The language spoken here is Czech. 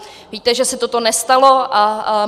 Víte, že se toto nestalo.